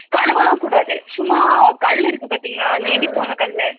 கழுவல்லாம் கூடாது சும்மா கல் இருக்கும் பாத்திங்களா அதா இடிப்பாங்க கல்லு